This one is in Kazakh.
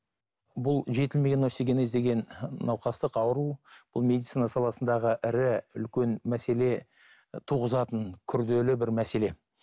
бұл жетілмеген остеогенез деген науқастық ауру бұл медицина саласындағы ірі үлкен мәселе туғызатын күрделі бір мәселе